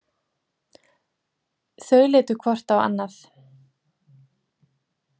Þau litu hvort á annað.